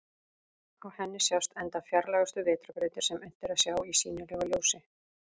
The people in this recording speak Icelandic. Á henni sjást enda fjarlægustu vetrarbrautir sem unnt er að sjá í sýnilegu ljósi.